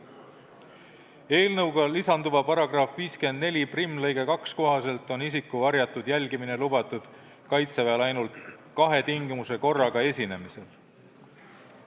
Eelnõuga lisanduva § 541 lõike 2 kohaselt on isiku varjatud jälgimine lubatud Kaitseväel ainult kahe tingimuse korraga esinemisel.